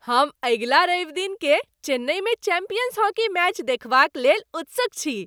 हम अगिला रविदिनकेँ चेन्नईमे चैंपियंस हॉकी मैच देखबाक लेल उत्सुक छी।